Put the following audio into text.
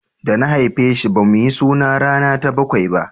da na haife shi ba mu yi suna rana ta bakwai ba